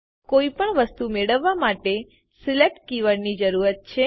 કોઈપણ કોઈ પણ વસ્તુ મેળવવા માટે સિલેક્ટ કીવર્ડની જરૂર છે